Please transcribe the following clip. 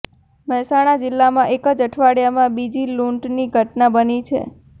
મહેસાણા જીલ્લામાં એકજ અઠવાડિયામાં બીજી લૂંટની ઘટના બની છે